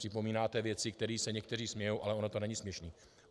Připomínáte věci, kterým se někteří smějí, ale ono to není směšné.